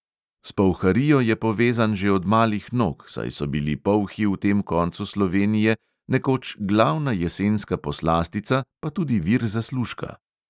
S polharijo je povezan že od malih nog, saj so bili polhi v tem koncu slovenije nekoč glavna jesenska poslastica pa tudi vir zaslužka.